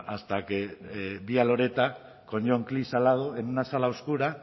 hasta que vi a loretta con john klisch al lado en una sala oscura